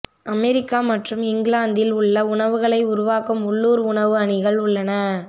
America மற்றும் இங்கிலாந்தில் உள்ள உணவுகளை உருவாக்கும் உள்ளூர் உணவு அணிகள் உள்ளன